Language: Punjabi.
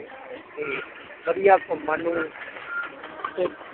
ਤੇ ਵਧੀਆ ਘੁੰਮਣ ਨੂੰ